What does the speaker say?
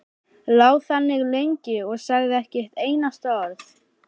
Lá þannig lengi og sagði ekki eitt einasta orð.